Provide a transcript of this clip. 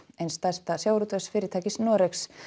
eins stærsta sjávarútvegsfyrirtækis Noregs